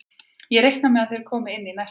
Ég reikna með að þeir komi inn í næsta leik.